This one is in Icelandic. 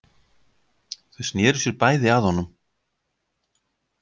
Þau sneru sér bæði að honum.